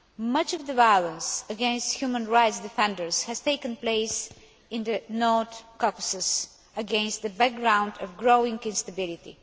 Much of the violence against human rights defenders has taken place in the North Caucasus, against the background of growing instability.